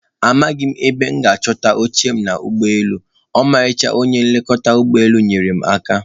Amaghị m ebe m ga-achọta oche m n'ụgbọelu, ọmarịcha onye nlekọta ụgbọ elu nyeere m aka.